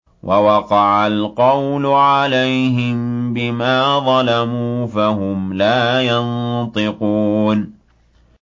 وَوَقَعَ الْقَوْلُ عَلَيْهِم بِمَا ظَلَمُوا فَهُمْ لَا يَنطِقُونَ